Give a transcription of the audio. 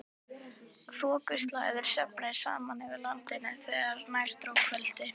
Þokuslæður söfnuðust saman yfir landinu þegar nær dró kvöldi.